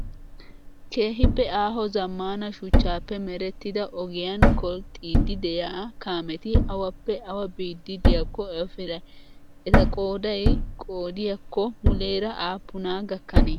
Keehippe aaho zammaana shuchchaappe merettida ogiyaan kolxxiiddi diyaa kaameti awappe awa biiddi diyaakko efrayi? Eta qoodayi qoodiyaakko muleera aappunaa gakkanee?